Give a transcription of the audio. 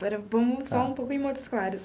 Agora vamos só um pouco em Montes Claros.